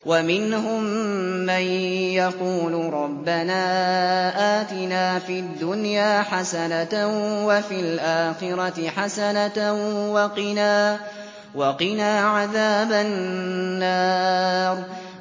وَمِنْهُم مَّن يَقُولُ رَبَّنَا آتِنَا فِي الدُّنْيَا حَسَنَةً وَفِي الْآخِرَةِ حَسَنَةً وَقِنَا عَذَابَ النَّارِ